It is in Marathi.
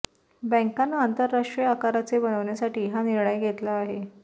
बँकाना आंतरराष्ट्रीय आकाराचे बनवण्यासाठी हा निर्णय घेतला आहे